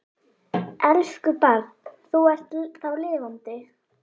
Elsku barn, þú ert þá lifandi.